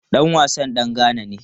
Dan wasan dan Ghana ne.